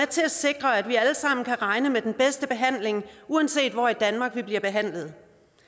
til at sikre at vi alle sammen kan regne med den bedste behandling uanset hvor i danmark vi bliver behandlet